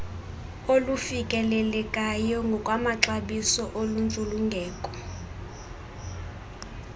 olufikelelekayo ngokwamaxabiso oluntsulungeko